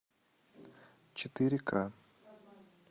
четыре к